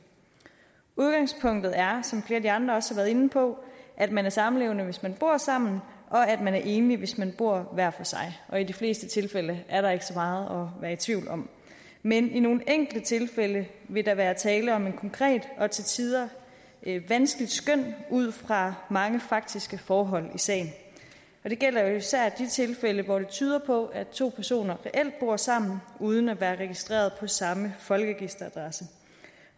udgangspunktet er som flere andre også har været inde på at man er samlevende hvis man bor sammen og at man er enlig hvis man bor hver for sig i de fleste tilfælde er der ikke så meget at være i tvivl om men i nogle enkelte tilfælde vil der være tale om et konkret og til tider vanskeligt skøn ud fra mange faktiske forhold i sagen det gælder jo især de tilfælde hvor det tyder på at to personer reelt bor sammen uden at være registreret på samme folkeregisteradresse